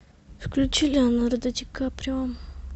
включи леонардо ди каприо